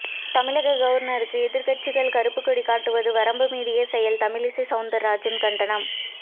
தமிழக கவர்னருக்கு எதிர்க்கட்சிகள் கறுப்பு கொடி காட்டுவது வரம்பு மீறிய செயல் தமிழிசை சவுந்தர்ராஜன் கண்டனம்